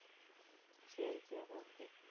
சரி சரி okay